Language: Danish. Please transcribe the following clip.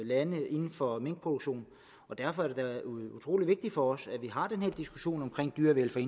lande inden for minkproduktion og derfor er det da utrolig vigtigt for os at vi har den her diskussion om dyrevelfærd